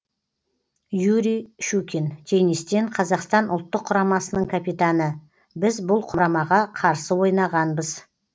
юрий щукин теннистен қазақстан ұлттық құрамасының капитаны біз бұл құрамаға қарсы ойнағанбыз